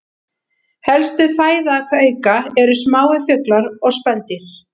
Helsta fæða hauka eru smáir fuglar og spendýr.